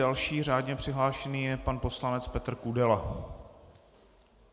Další řádně přihlášený je pan poslanec Petr Kudela.